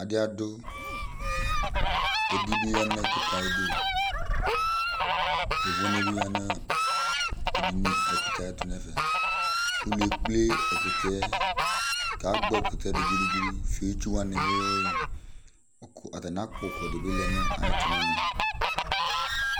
Adi adʋ Edi bɩ ya nʋ ɛkʋtɛ yɛ ayʋ ɩdʋ Yovone bɩ ya nʋ ɛkʋtɛ yɛ ayʋ ɛtʋ nʋ ɛfɛ Ʋlʋ ekple ɛkʋtɛ yɛ, kʋ agbɔ ɛkʋtɛ yɛ dʋ gʋdʋ gʋdʋ, fio itsu wanɩ wɩyʋ wiyʋ Atanɩ akpɔ ʋkʋ dɩ bɩ lɛ nʋ ayʋ ɛtʋ nʋ ɛmɛ